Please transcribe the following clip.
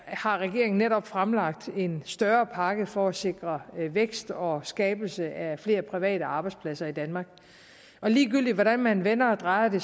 har regeringen netop fremlagt en større pakke for at sikre vækst og skabelse af flere private arbejdspladser i danmark og ligegyldigt hvordan man vender og drejer det